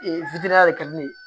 de kɛlen